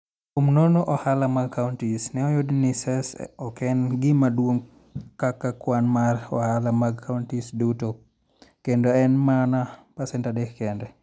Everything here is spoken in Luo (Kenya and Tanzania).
Kuom nono ohala mag counties, ne oyud ni Cess ne ok en gima duong' kaka kwan mar ohala mag counties duto, kendo ne en mana pasent 3 kende.